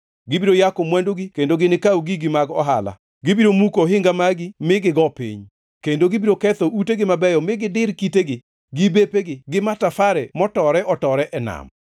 Gibiro yako mwandugi kendo ginikaw gigi mag ohala; gibiro muko ohinga magi mi gigo piny, kendo gibiro ketho utegi mabeyo mi gidir kitegi, gi bepegi, gi matafare motore-otore e nam.